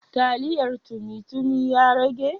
Taliyar tumi tumi ya rage?